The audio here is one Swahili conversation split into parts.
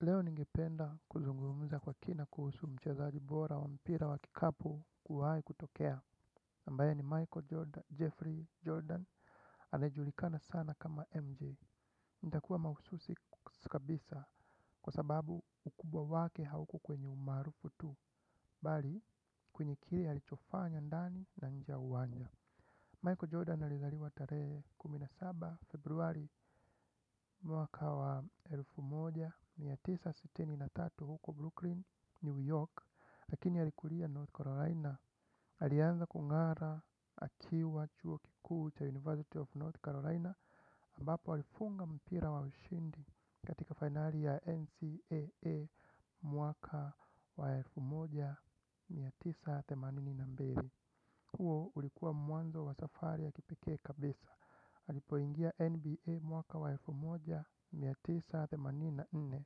Leo ningependa kuzungumuza kwa kina kuhusu mchazaji bora wa mpira wa kikapu kuwahi kutokea ambaye ni Michael Jordan, Jeffrey Jordan, anaye julikana sana kama MJ. Nitakuwa mahususi kabisa kwa sababu ukubwa wake hauko kwenye umarufu tu, bali, kwenye kile alicho fanya ndani na nje ya uwanja. Michael Jordan alizaliwa tarehe kumi na saba Februari mwaka wa elfu moja mia tisa sitini na tatu huko Brooklyn, New York. Lakini alikulia North Carolina. Alianza kung'ara akiwa chuo kikuu cha University of North Carolina ambapo alifunga mpira wa ushindi katika finali ya NCAA mwaka wa elfu moja mia tisa themanini na mbili. Huo ulikuwa mwanzo wa safari ya kipikee kabisa. Alipoingia NBA mwaka wa elfu moja mia tisa themanini na nne,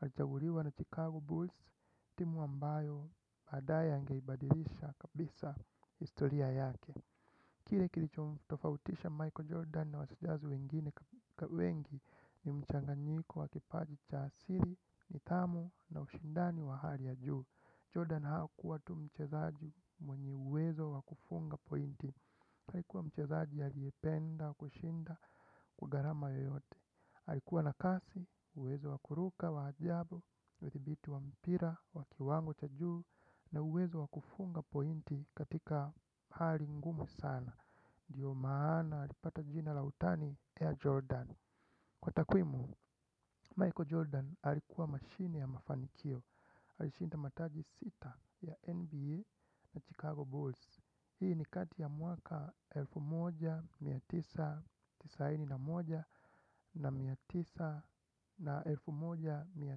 alichaguliwa na Chicago Bulls, timu ambayo baadae angeibadilisha kabisa historia yake. Kile kilichomtofautisha Michael Jordan na wachezaji wengine wengi ni mchanganyiko wa kipaji cha asili, nidhamu na ushindani wa hali ya juu. Jordan hakuwa tu mchezaji mwenye uwezo wakufunga pointi. Alikuwa mchezaji aliyependa kushinda kwa gharama yoyote. Alikuwa na kasi, uwezo wa kuruka wa ajabu, udhibiti wa mpira wa kiwango cha juu, na uwezo wa kufunga pointi katika hali ngumu sana ndio maana alipata jina la utani ya Jordan. Kwa takwimu, Michael Jordan alikuwa mashine ya mafanikio. Alishinda mataji sita ya NBA na Chicago Bulls. Hii ni kati ya mwaka elfu moja na mia tisa na tisini na moja na elfu moja na mia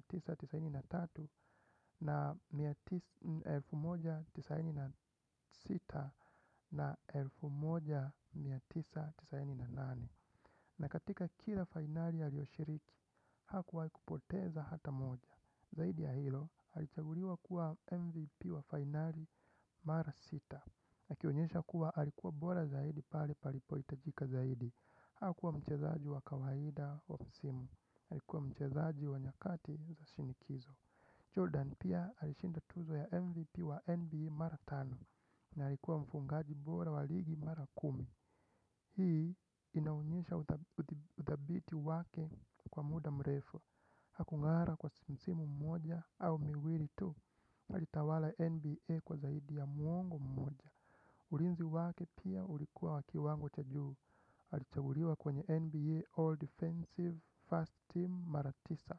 tisa na tisini na tatu na elfu moja na mia tisa na tisini na sita na elfu moja na mia tisa na tisini na nane. Na katika kila fainali aliyoshiriki, hakuwahi kupoteza hata moja. Zaidi ya hilo, alichaguliwa kuwa MVP wa finali mara sita, akionyesha kuwa alikuwa bora zaidi pale palipo hitajika zaidi. Hakuwa mchezaji wa kawaida wa msimu. Alikuwa mchezaji wa nyakati za shinikizo. Jordan pia alishinda tuzo ya MVP wa NBA mara tano. Na alikuwa mfuqngaji bora wa ligi mara kumi. Hii inaonyesha uthabiti wake kwa muda mrefu. Haku ng'ara kwa msimu mmoja au miwili tu alitawala NBA kwa zaidi ya mwongo mmoja. Ulinzi wake pia ulikuwa wa kiwango cha juu alichaguliwa kwenye NBA All Defensive First Team mara tisa.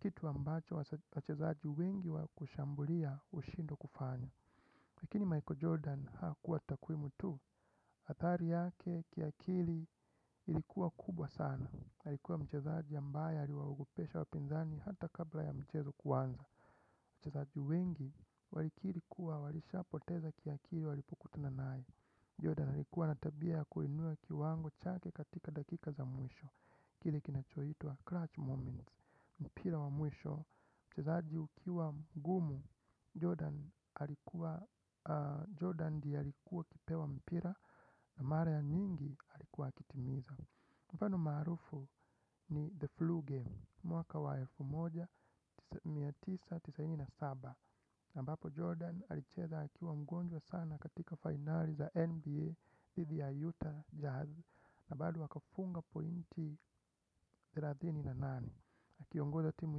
Kitu ambacho wachezaji wengi wa kushambulia hushindwa kufanya. Lakini Michael Jordan hakuwa takwimu tu, athari yake kiakili ilikuwa kubwa sana. Alikuwa mchezaji ambaye aliwaogopesha wapinzani hata kabla ya mchezo kuanza. Wachezaji wengi walikiri kuwa walishapoteza kiakili walipokutuna naye. Jordan alikuwa na tabia kuinua kiwango chake katika dakika za mwisho. Kile kinacho itwa clutch moments. Mpira wa mwisho. Mchezaji ukiwa mgumu. Jordan alikuwa. Jordan ndiye alikuwa akipewa mpira. Na mara ya nyingi alikuwa akitimiza. Mfano maarufu ni The Flu Game. Mwaka wa elfu moja na mia tisa na tisini na saba ambapo Jordan alicheza akiwa mgonjwa sana katika finali za NBA Dhidi ya Utah Jazz, na bado akafunga pointi thelathini na nane. Akiongoza timu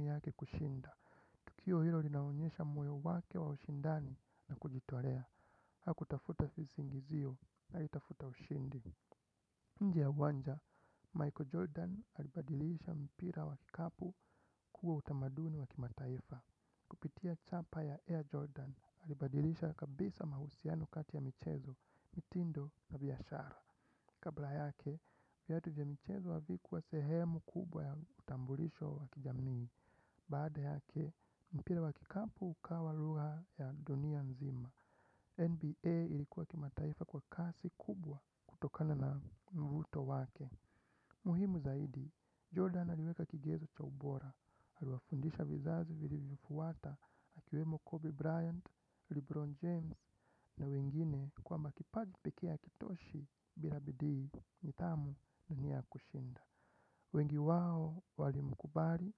yake kushinda. Tukio hilo linaonyesha moyo wake wa ushindani na kujitolea. Hakutafuta visingizio, alitafuta ushindi. Nje ya uwanja, Michael Jordan alibadilisha mpira wa kikapu kuwa utamaduni wa kimataifa. Kupitia chapa ya Air Jordan alibadilisha kabisa mahusiano kati ya michezo, mitindo na biashara. Kabla yake, viatu vya michezo havikuwa sehemu kubwa ya utambulisho wa kijamii. Baada yake, mpira wa kikapu ukawa lugha ya dunia nzima. NBA ilikuwa kimataifa kwa kasi kubwa kutokana na mvuto wake. Muhimu zaidi, Jordan aliweka kigezo cha ubora, aliwafundisha vizazi vilivyo fuata, akiwemo Kobe Bryant, Lebron James na wengine kwamba kipaji pekee hakitoshi bila bidii, nidhamu na nia ya kushinda. Wengi wao walimkubali.